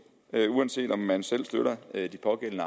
uanset om man selv støtter de pågældende